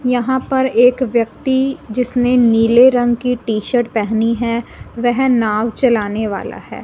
यहां पर एक व्यक्ति जिसने नीले रंग की टी शर्ट पहनी है वह नाव चलाने वाला है।